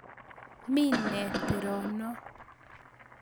Mi nee tero no?